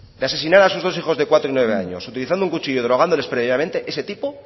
de asesinar a sus hijos de cuatro y nueve años utilizando un cuchillo y drogándoles previamente ese tipo